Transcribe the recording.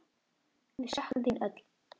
Við söknum þín öll.